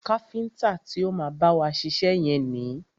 Káfíntà ti o má bá wa ṣiṣẹ́ yẹn ni.